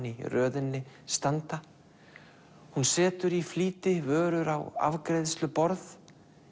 í röðinni standa hún setur í flýti vörur á afgreiðsluborð